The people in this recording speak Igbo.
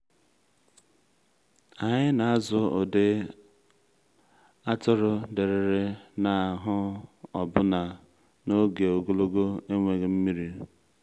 anyị na-azụ ụdị atụrụ dịrịrị n’ahụ́ ọbụna n’oge ogologo enweghị nmiri.